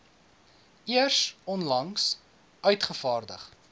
eers onlangs uitgevaardig